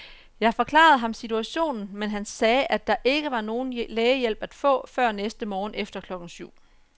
Jeg forklarede ham situationen, men han sagde, at der ikke var nogen lægehjælp at få før næste morgen efter klokken syv.